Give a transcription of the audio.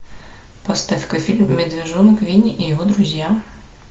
поставь ка фильм медвежонок винни и его друзья